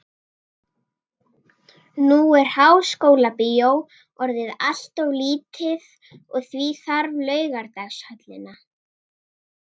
Nú er Háskólabíó orðið allt of lítið og því þarf Laugardalshöllina.